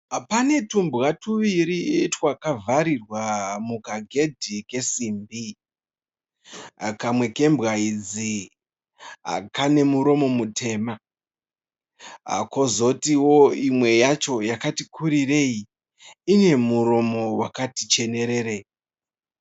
Pane twumbwa twuviri twakavharirwa mukaghedhi kesimbi, kamwe kembwa idzi kane muromo mutema, kozotiwo imwe yacho yakati kuririrei ine muromo wakati chenererei.